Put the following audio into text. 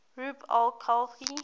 rub al khali